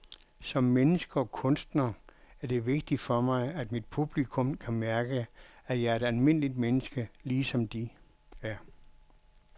Som menneske og kunstner er det vigtigt for mig, at mit publikum kan mærke, at jeg er et almindeligt menneske, ligesom de er.